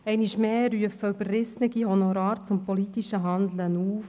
Einmal mehr rufen überrissene Honorare zu politischem Handeln auf.